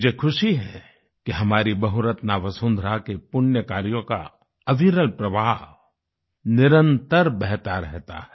मुझे ख़ुशी है कि हमारी बहुरत्ना वसुंधरा के पुण्य कार्यों का अविरल प्रवाह निरंतर बहता रहता है